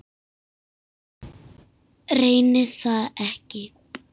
Reyni það ekki.